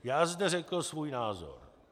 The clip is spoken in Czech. Já zde řekl svůj názor.